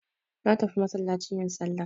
Natafi masallaci yin sallah.